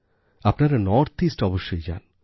আপনারা north east অবশ্যই যান